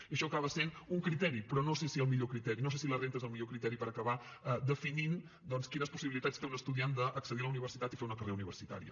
i això acaba sent un criteri però no sé si el millor criteri no sé si la renda és el millor criteri per acabar definint quines possibilitats té un estudiant d’accedir a la universitat i fer una carrera universitària